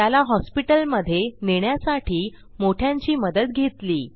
त्याला हॉस्पिटलमधे नेण्यासाठी मोठ्यांची मदत घेतली